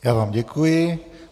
Já vám děkuji.